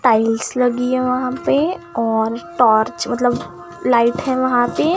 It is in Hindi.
टाइल्स लगी है वहां पे और टॉर्च मतलब लाइट है वहां पे।